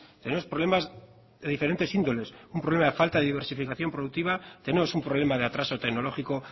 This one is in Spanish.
tenemos problemas de diferentes índoles un problema de falta de diversificación productiva tenemos un problema de atraso tecnológico